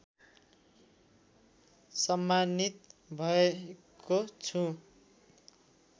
सम्मानित भएको छु